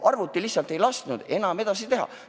Arvuti lihtsalt ei lasknud enam edasi teha.